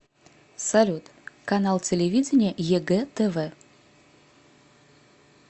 салют канал телевидения егэ тв